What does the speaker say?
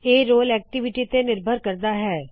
ਇਹ role activity ਤੇ ਨਿਰਭਰ ਕਰਦਾ ਹੈ